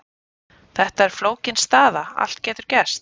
Þetta er flókin staða, allt getur gerst.